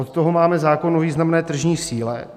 Od toho máme zákon o významné tržní síle.